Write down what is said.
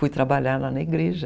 Fui trabalhar lá na igreja.